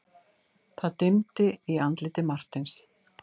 Það dimmdi í andliti Marteins.